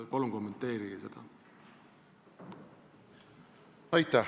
Palun kommenteerige seda!